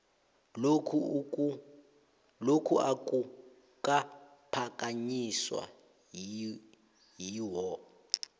lokhu akukaphakanyiswa yiwho